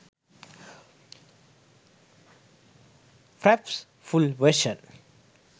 fraps full version